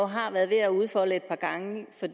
har været ved at udfolde et par gange for